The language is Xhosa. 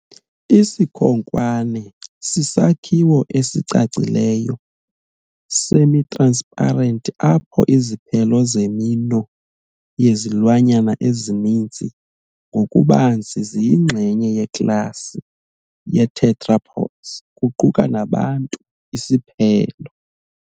Isikhonkwane sisakhiwo esicacileyo semi-transparent apho iziphelo zeminwe yezilwanyana ezininzi, ngokubanzi ziyingxenye yeklasi ye-tetrapods, kuquka nabantu, isiphelo.